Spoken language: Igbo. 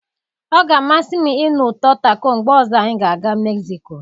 Ọ ga-amasị m ịnụ ụtọ taco mgbe ọzọ anyị ga-aga mexico.